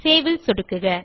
save ல் சொடுக்குக